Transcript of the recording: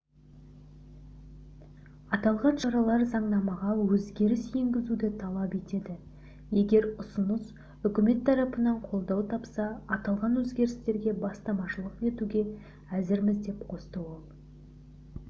аталған шаралар заңнамаға өзгеріс енгізуді талап етеді егер ұсыныс үкімет тарапынан қолдау тапса аталған өзгерістерге бастамашылық етуге әзірміз деп қосты ол